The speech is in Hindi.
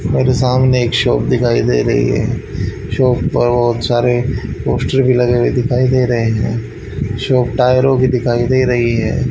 मेरे सामने एक शॉप दिखाई दे रही है शॉप पर बहोत सारे पोस्ट भी लगाए हुए दिखाई दे रहे है शॉप टायरों की दिखाई दे रही है।